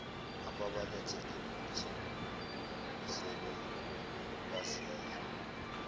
ababaletha ngephutha sebebazele